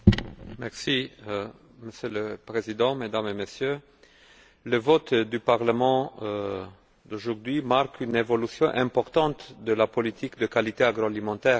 Monsieur le Président, Mesdames et Messieurs, le vote du Parlement aujourd'hui marque une évolution importante de la politique de qualité agroalimentaire de l'Union européenne.